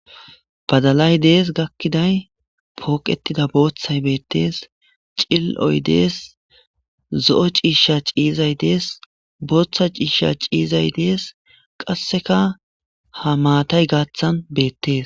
badalay dees gakkiday pooqetida booththay beettees cil7oy dees zo7o ciisha ciizay dees booththa ciisha ciizay dees qasseka ha maatay gaaththan beettees